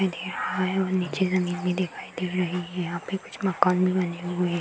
और नीचे जमीन भी दिखाई दे रही है। यहाँ पे कुछ मकान भी बने हुए हैं।